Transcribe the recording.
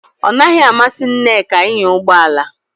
Ọ naghị amasị Nneka ịnya ụgbọ ala